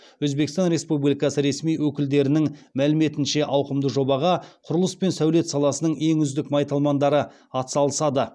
өзбекстан республикасы ресми өкілдерінің мәліметінше ауқымды жобаға құрылыс пен сәулет саласының ең үздік майталмандары атсалысады